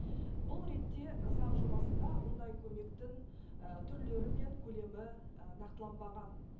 бұл ретте заң жобасында мұндай көмектің і түрлері мен көлемі і нақтыланбаған